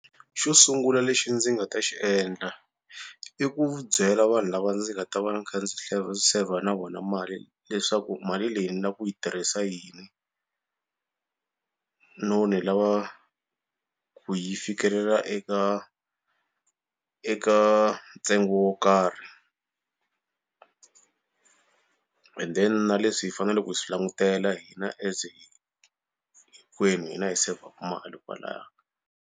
Xo sungula lexi ndzi nga ta xi endla i ku byela vanhu lava ndzi nga ta va ni kha ndzi saver na vona mali leswaku mali leyi ni lava ku yi tirhisa yini no ni lava ku yi fikelela eka eka ntsengo wo karhi and then na leswi hi faneleke hi swi langutela hina as hinkwenu hina hi saver-ku mali kwalaya.